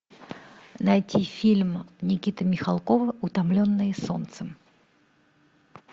найти фильм никиты михалкова утомленные солнцем